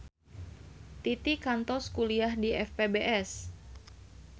Titi kantos kuliah di FPBS